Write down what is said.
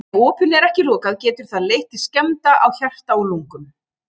Ef opinu er ekki lokað getur það leitt til skemmda á hjarta og lungum.